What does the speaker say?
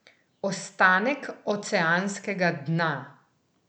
Ostanek oceanskega dna?